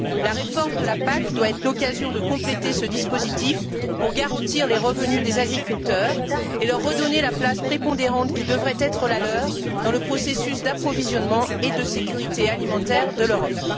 La réforme de la PAC doit être l'occasion de compléter ce dispositif, pour garantir les revenus des agriculteurs et leur redonner la place prépondérante qui devrait être la leur dans le processus d'approvisionnement et dans la sécurité alimentaire de l'Europe.